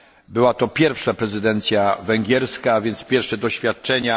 Była to pierwsza prezydencja węgierska, a więc pierwsze doświadczenia.